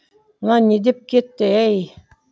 мынау не деп кетті ей